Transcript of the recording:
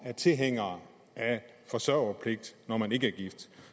er tilhænger af forsørgerpligt når man ikke er gift